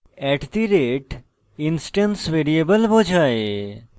@instance variable বোঝায়